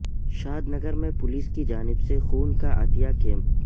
شاد نگر میں پولیس کی جانب سے خون کا عطیہ کیمپ